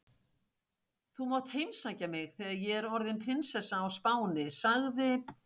Þú mátt heimsækja mig þegar ég er orðin prinsessa á Spáni sagði